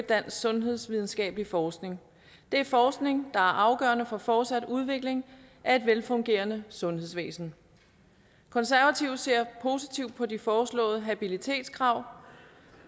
dansk sundhedsvidenskabelig forskning det er forskning der er afgørende for fortsat udvikling af et velfungerende sundhedsvæsen konservative ser positivt på de foreslåede habilitetskrav